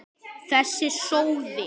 Þessi sóði!